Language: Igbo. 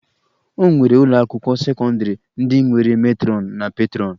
O nwere ụlọakwụkwọ sekọndịrị ndị nwere metrọn na petrọn